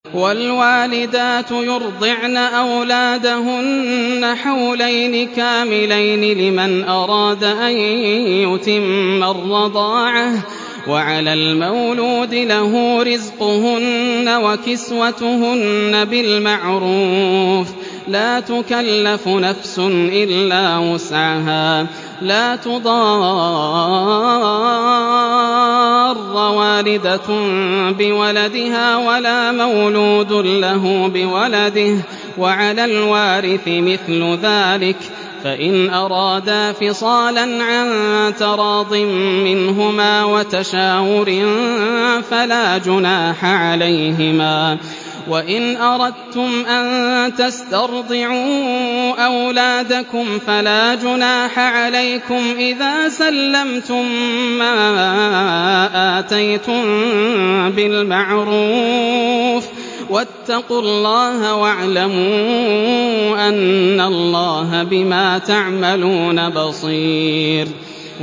۞ وَالْوَالِدَاتُ يُرْضِعْنَ أَوْلَادَهُنَّ حَوْلَيْنِ كَامِلَيْنِ ۖ لِمَنْ أَرَادَ أَن يُتِمَّ الرَّضَاعَةَ ۚ وَعَلَى الْمَوْلُودِ لَهُ رِزْقُهُنَّ وَكِسْوَتُهُنَّ بِالْمَعْرُوفِ ۚ لَا تُكَلَّفُ نَفْسٌ إِلَّا وُسْعَهَا ۚ لَا تُضَارَّ وَالِدَةٌ بِوَلَدِهَا وَلَا مَوْلُودٌ لَّهُ بِوَلَدِهِ ۚ وَعَلَى الْوَارِثِ مِثْلُ ذَٰلِكَ ۗ فَإِنْ أَرَادَا فِصَالًا عَن تَرَاضٍ مِّنْهُمَا وَتَشَاوُرٍ فَلَا جُنَاحَ عَلَيْهِمَا ۗ وَإِنْ أَرَدتُّمْ أَن تَسْتَرْضِعُوا أَوْلَادَكُمْ فَلَا جُنَاحَ عَلَيْكُمْ إِذَا سَلَّمْتُم مَّا آتَيْتُم بِالْمَعْرُوفِ ۗ وَاتَّقُوا اللَّهَ وَاعْلَمُوا أَنَّ اللَّهَ بِمَا تَعْمَلُونَ بَصِيرٌ